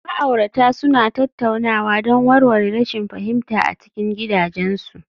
Ma'aurata suna tattaunawa don warware rashin fahimta a cikin gidajensu